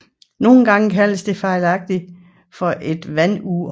Nogle gange kaldes den fejlagtigt for et vandur